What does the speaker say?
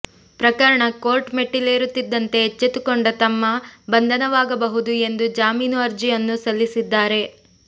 ಪ್ರಕರಣ ಕೋರ್ಟ್ ಮೆಟ್ಟಿಲೇರುತ್ತಿದ್ದಂತೆ ಎಚ್ಚೆತ್ತುಕೊಂಡ ತಮ್ಮ ಬಂದನವಾಗಬಹುದು ಎಂದು ಜಾಮೀನು ಅರ್ಜಿಯನ್ನು ಸಲ್ಲಿಸಿದ್ದಾರೆ